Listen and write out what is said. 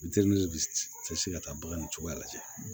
ka taa baganw cogoya lajɛ